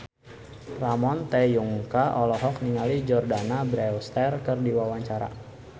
Ramon T. Yungka olohok ningali Jordana Brewster keur diwawancara